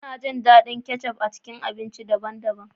Ana jin daɗin kecup a cikin abinci daban-daban.